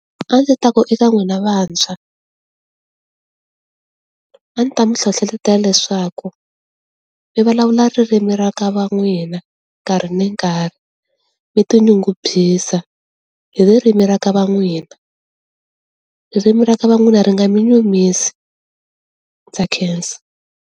A ndzi ta ku eka n'wina vantshwa, a ndzi ta mi hlohletela leswaku mi vulavula ririmi ra ka va n'wina nkarhi ni nkarhi mi ti nyungubyisa hi ririmi ra va ka n'wina ririmi ra ka va n'wina ri nga mi nyumisi, ndza khensa.